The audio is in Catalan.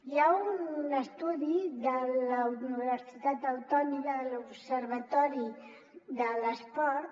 hi ha un estudi de la universitat autònoma de l’observatori de l’esport